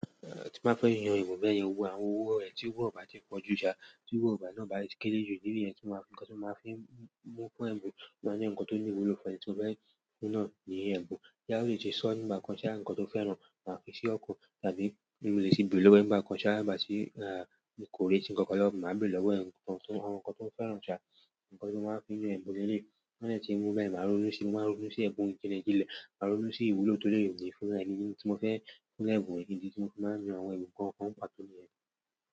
Tí mo bá fẹ́ yan ẹ̀bùn bẹ́ẹ̀ yẹn, mo ma wo àwọn owó rẹ̀ tí kó ba ti pọ̀ jù sà, tí owó gba náà bá ti kéré jù ídi ni yẹn tí mo máa fi ń mú kún ẹ̀bùn, máa ni nǹkan tó ní ìwúlò fún ẹni tó fẹ́ fún náà ní ẹ̀bùn. Boyá olè ti sọ nígbà kan sí i, àwọn nǹkan tó fẹ́ràn, máa fi sí ọkan tàbí mo léètì gbére lọ́wọ́ nígbà kan ṣáá nigbá tí, mí kò re ti nǹkan kan lọ́wọ́, màá béèrè lọ́wọ́ ẹ̀ nǹkan tí àwọn nǹkan tó fẹ́ràn sà, nǹkan tí mo máa ń fi na ẹ̀bùn lele yi. Tó ba de ti wu báyen ma rónú sí i, máa rónú sí yẹ̀n kini ki ra, máa rónú sí ìwúlò tó lè rì ní fún ẹni tí mo fẹ́ fún ẹ̀bùn ìdí, tí mo fi máa ń yan àwọn ẹ̀bùn kọ̀ọ̀kan n pàtó ní yẹ̀n.